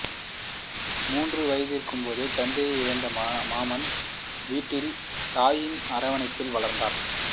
மூன்று வயதிருக்கும்போதே தந்தையை இழந்து மாமன் வீட்டில் தாயின் அரவணைப்பில் வளர்ந்தவர்